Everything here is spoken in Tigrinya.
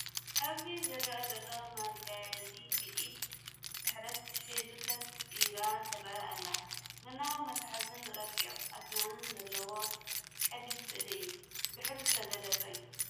ኣብዚ ዝረአ ዘሎ መጋዝ ብኢድ ስሕለት ሒዛ ኮፍ ኢላ ትርአ ኣላ። ቡናዊ መትሓዚን ረቂቕ ኣስናንን ዘለዎ ቀሊል ስእሊ እዩ፣ ብሕብሪ ዝተገለፀ እዩ።